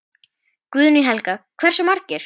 Guðný Helga: Hversu margir?